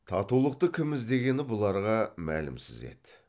татулықты кім іздегені бұларға мәлімсіз еді